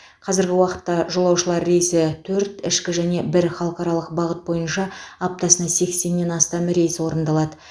қазіргі уақытта жолаушылар рейсі төрт ішкі және бір халықаралық бағыт бойынша аптасына сексеннен астам рейс орындалады